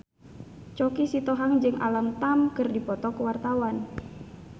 Choky Sitohang jeung Alam Tam keur dipoto ku wartawan